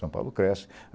São Paulo cresce.